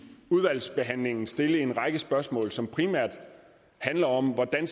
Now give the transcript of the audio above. udvalgsbehandlingen stille en række spørgsmål som primært handler om hvordan